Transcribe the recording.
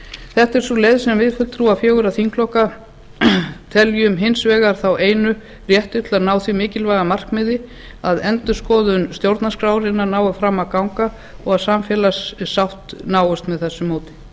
þetta er sú leið sem við fulltrúar fjögurra þingflokka teljum þá einu réttu til að ná því mikilvæga markmiði að endurskoðun stjórnarskrárinnar nái fram að ganga og að samfélagssátt náist með þessu móti